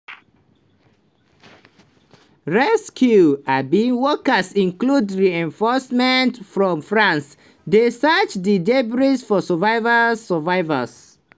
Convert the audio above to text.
rescue um workers including reinforcements from france dey search di debris for survival. survival